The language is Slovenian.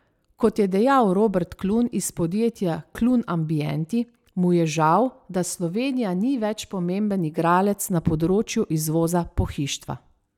Kot je dejal Robert Klun iz podjetja Klun Ambienti, mu je žal, da Slovenija ni več pomemben igralec na področju izvoza pohištva.